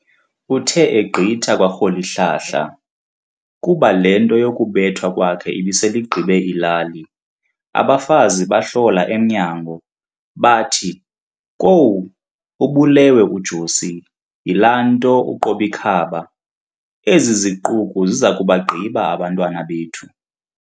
Uthe egqitha kwa Rholihlahla, kuba le nto yokubethwa kwakhe ibisel'igqibe ilali, abafazi bahlola emnyango, bathi, Kwowu! ubulewe u-Josi yilaa nto uQob'ikhaba, ezi ziquku zizakubagqiba abantwana bethu.